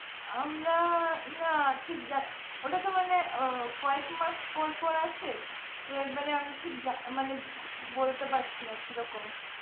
আমরা না ঠিক জানিনা ওটাতো মানে কয়েক মাস পর পর আসে তো একবারে আমি ঠিক বলতে পারছিনা কিরকম